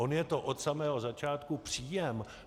On je to od samého začátku příjem.